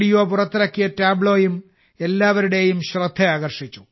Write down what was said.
പുറത്തിറക്കിയ ടാബ്ലോയും ഏവരുടെയും ശ്രദ്ധ ആകർഷിച്ചു